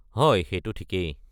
হয়, সেইটো ঠিকেই।